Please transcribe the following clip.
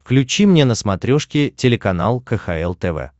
включи мне на смотрешке телеканал кхл тв